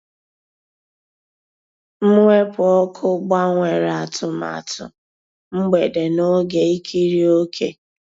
Mwepụ́ ọ́kụ́ gbànwèrè àtụ̀màtụ́ mgbedé n'ògé ìkírí òkè.